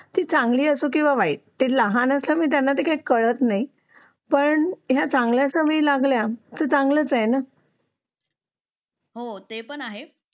ती चांगली असो किंवा वाईट त्यांनी आम्हाला सांगून ते त्यांना काही कळत नाही पण ह्या चांगल्या सवय लागल्या की चांगलंच आहे ना हो ते पण आहेच